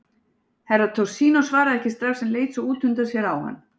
Herra Toshizo svaraði ekki strax en leit svo út undan sér á hann.